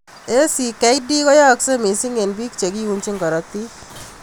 ACKD koyaaksei missing eng bik chekiunjin karotik.